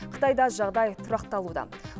қытайда жағдай тұрақталуда